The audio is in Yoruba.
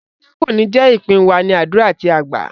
Ìbànújẹ kò ní jé ìpín wa, ní àdúrà tí a gbá.